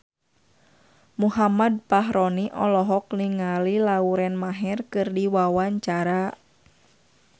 Muhammad Fachroni olohok ningali Lauren Maher keur diwawancara